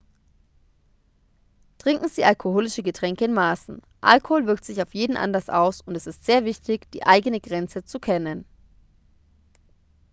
trinken sie alkoholische getränke in maßen alkohol wirkt sich auf jeden anders aus und es ist sehr wichtig die eigene grenze zu kennen